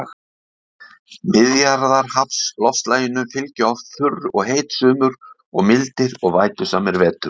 Miðjarðarhafsloftslaginu fylgja oft þurr og heit sumur og mildir og vætusamir vetur.